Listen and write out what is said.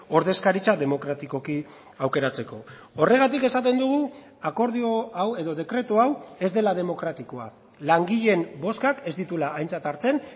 ordezkaritza demokratikoki aukeratzeko horregatik esaten dugu akordio hau edo dekretu hau ez dela demokratikoa langileen bozkak ez dituela aintzat hartzen